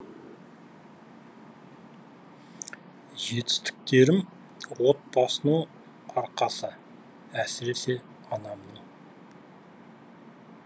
жетістіктерім отбасымның арқасы әсіресе анамның